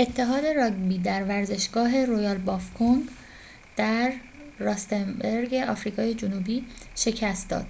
آفریقای جنوبی تیم ملی راگبی نیوزلند all blacks را در یک مسابقه tri nations سه ملیتی اتحاد راگبی در ورزشگاه رویال بافوکنگ در راستنبرگ آفریقای جنوبی شکست داد